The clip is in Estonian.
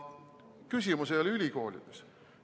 Küsimus ei ole ülikoolides.